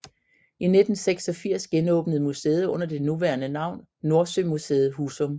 I 1986 genåbnede museet under det nuværende navn NordsøMuseet Husum